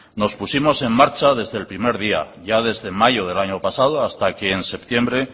nos pusimos en marcha ya desde el primer día ya desde mayo del año pasado hasta que en septiembre